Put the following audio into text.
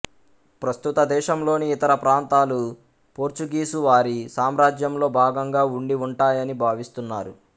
ప్రస్తుత దేశంలోని ఇతర ప్రాంతాలు పోర్చుగీసు వారి సామ్రాజ్యంలో భాగంగా ఉండివుంటాయని భావిస్తున్నారు